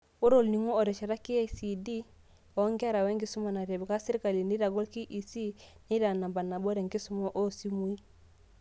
Ore olning'o otesheta KICD wonkera, wenkisuma natipka sirkali neitagol KEC neitaa namba nabo tenkisuma oosimui.